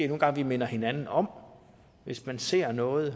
nogle gange minde hinanden om hvis man ser noget at